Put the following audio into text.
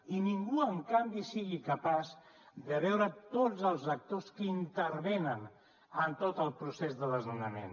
i ningú en canvi sigui capaç de veure tots els actors que intervenen en tot el procés de desnonament